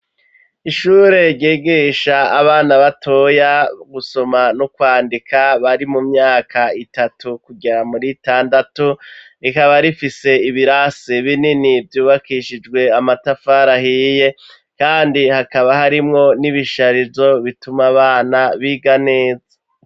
Ishure ryigisha, abana batoya, gusoma n'ukwandika, bari mu myaka itatu, kugera muri itandatu; rikaba rifise, ibirasi binini, vyubakishijwe amatafari ahiye; kandi hakaba harimwo, n'ibisharizo, bituma abana biga neza.